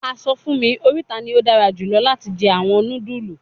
A sọ fun mi orita ni o dara julọ lati jẹ awọn nudulu